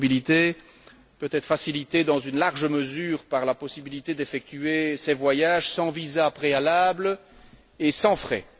Cette mobilité peut être facilitée dans une large mesure par la possibilité d'effectuer ces voyages sans visa préalable et sans frais.